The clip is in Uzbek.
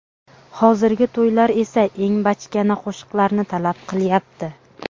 Hozirgi to‘ylar esa eng bachkana qo‘shiqlarni talab qilyapti .